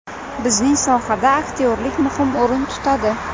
Bizning sohada aktyorlik muhim o‘rin tutadi.